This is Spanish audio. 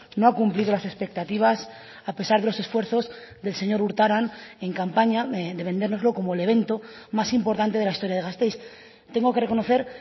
no ha cumplido las expectativas a pesar de los esfuerzos del señor urtaran en campaña de vendérnoslo como el evento más importante de la historia de gasteiz tengo que reconocer